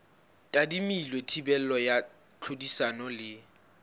tadimilwe thibelo ya tlhodisano le